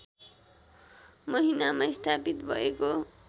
महिनामा स्थापित भएको